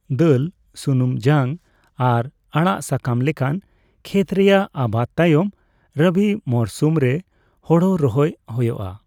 ᱫᱟᱹᱞ, ᱥᱩᱱᱩᱢ ᱡᱟᱝ ᱟᱨ ᱟᱲᱟᱜᱼᱥᱟᱠᱟᱢ ᱞᱮᱠᱟᱱ ᱠᱷᱮᱛ ᱨᱮᱭᱟᱜ ᱟᱵᱟᱫ ᱛᱟᱭᱚᱢ ᱨᱚᱵᱤ ᱢᱚᱨᱥᱩᱢ ᱨᱮ ᱦᱳᱲᱳ ᱨᱚᱦᱚᱭ ᱦᱳᱭᱳᱜᱼᱟ ᱾